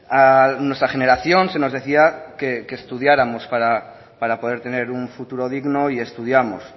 a nuestra generación se nos decía que estudiáramos para poder tener un futuro digno y estudiamos